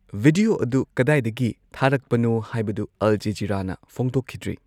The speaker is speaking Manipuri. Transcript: ꯚꯤꯗꯤꯌꯣ ꯑꯗꯨ ꯀꯗꯥꯢꯗꯒꯤ ꯊꯥꯔꯛꯄꯅꯣ ꯍꯥꯏꯕꯗꯨ ꯑꯜ ꯖꯥꯖꯤꯔꯥꯅꯥ ꯐꯣꯡꯗꯣꯛꯈꯤꯗ꯭ꯔꯤ꯫